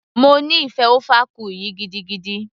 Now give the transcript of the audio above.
mo nífẹ̀ẹ́ ofe akwu yìí gidigidi